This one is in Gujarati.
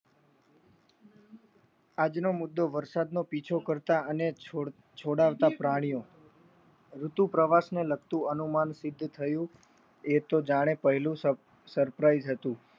આજનો મુદ્દો વરસાદનો પીછો કરતા અને છોડાવતા પ્રાણીઓ ઋતુ પ્રવાસ ને લખતું અનુમાન સિદ્ધ થયું એતો જાણે પહેલું sprize હતું.